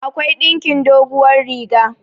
akwai ɗinkin doguwar riga